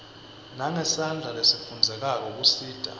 nangesandla lesifundzekako kusita